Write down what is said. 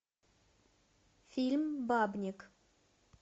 фильм бабник